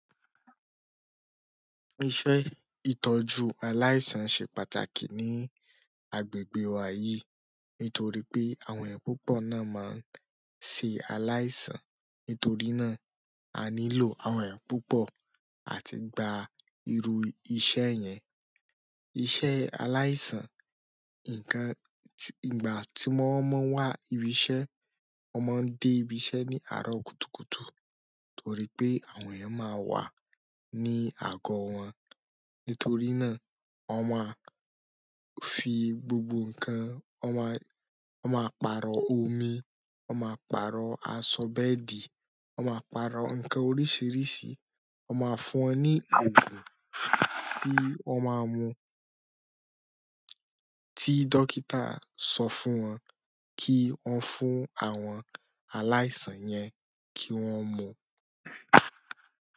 Iṣẹ́ ìtọ́jú aláìsàn ṣe pàtàkì ní agbègbè wa yìí, nítorí pé àwọn èèyàn púpọ̀ náà máa ń ṣe aláìsàn. Nítorí náà, a nílò àwọn èèyàn púpọ̀ àti gba irú iṣẹ́ yẹn. Iṣẹ́ aláìsàn, ǹkan-- ìgbà tí wọ́n máa ń wá ibi iṣẹ́, wọ́n máa ń dé ibi iṣẹ́ ní àárọ̀ kùtùkùtù, torí pé àwọn èèyàn máa wà ní àgọ́ wọn. Nítorí náà wọ́n máa fi gbogbo nǹkan wọ́n maa-- wọ́n máa pààrọ omi wọ́n máa pààrọ aṣọ bẹ́ẹ̀dì, wọ́n má pààrọ̀ nǹkan oríṣiríṣi, wọ́n máa fún wọn ní òògùn tí wọn máa mun tí dókítà sọ fún wọn kí wọ́n fún àwọn aláìsàn yẹn kí wọ́n mú.